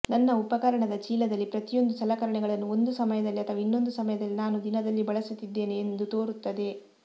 ನನ್ನ ಉಪಕರಣದ ಚೀಲದಲ್ಲಿ ಪ್ರತಿಯೊಂದು ಸಲಕರಣೆಗಳನ್ನು ಒಂದು ಸಮಯದಲ್ಲಿ ಅಥವಾ ಇನ್ನೊಂದು ಸಮಯದಲ್ಲಿ ನಾನು ದಿನದಲ್ಲಿ ಬಳಸುತ್ತಿದ್ದೇನೆ ಎಂದು ತೋರುತ್ತದೆ